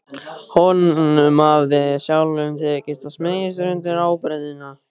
Honum hafði sjálfum tekist að smeygja sér undir ábreiðuna.